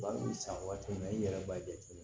Ba b'i san waati min na i yɛrɛ b'a jateminɛ